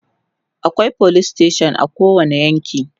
akwai police station a kowani yanki